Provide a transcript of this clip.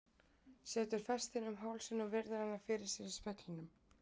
Setur festina um hálsinn og virðir hana fyrir sér í speglinum.